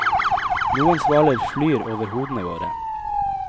Noen svaler flyr over hodene våre.